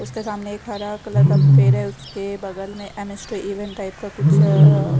उसके सामने एक हरा कलर का पेड़ है उसके बगल में म _स _टू इवन टाइप का कुछ--